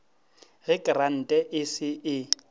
ge krante e se e